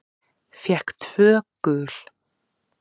Fékk tvö gul.